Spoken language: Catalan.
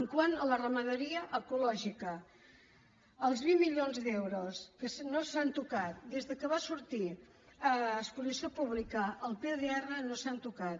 quant a la ramaderia ecològica els vint milions d’euros que no s’han tocat des que va sortir a exposició pública el pdr no s’han tocat